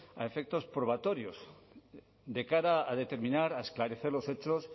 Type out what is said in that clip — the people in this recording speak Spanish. a efectos probatorios de cara a determinar a esclarecer los hechos